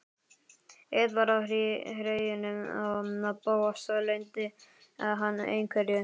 Eitt var á hreinu: Bóas leyndi hann einhverju.